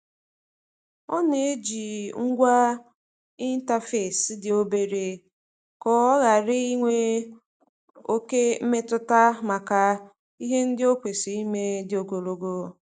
Ọ na-eji ngwa ịntafesi dị obere ka ọ ghara ịnwe oke mmetụta maka ihe ndị o kwesịrị ime dị ogologo.